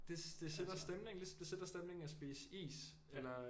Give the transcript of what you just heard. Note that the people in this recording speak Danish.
Det sætter stemningen ligesom det sætter stemningen at spise is eller